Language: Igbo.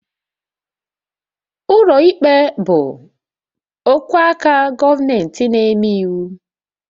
Ụlọikpe bụ ogwe aka gọọmentị na-eme iwu